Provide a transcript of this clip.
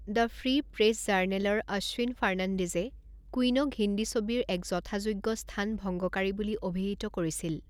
The free press জাৰ্নেলৰ অ'শ্বিন ফাৰ্ণাণ্ডেজে কুইনক হিন্দী ছবিৰ এক যথাযোগ্য স্থান ভংগকাৰী বুলি অভিহিত কৰিছিল।